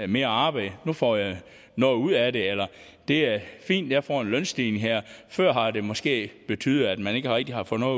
mere arbejde nu får jeg noget ud af det eller det er fint jeg får en lønstigning her før har det måske betydet at man ikke rigtig har fået